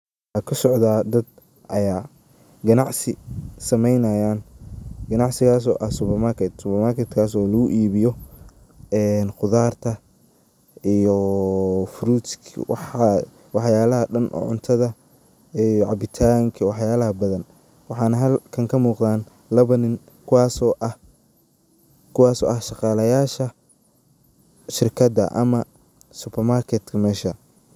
Meshaa ayaa waxa kasocda dad aya ganacsi sameynayaan, ganacsigas oo ah supermarket. Supamaketkaas oo lagu ibiyo een qudarta iyo furutska waxa iyo wax yalaha dan oo cuntada iyo cabitanka wax yalaha badan. Waxana halkan ka muqdan laba nin kuwaso ah shaqalayasha shirkada ama supamaketka mesha .